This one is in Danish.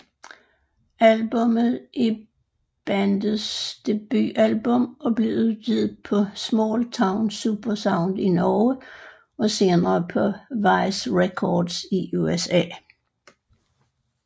Albumet er bandets debutalbum og blev udgivet på Smalltown Supersound i Norge og senere på Vice Records i USA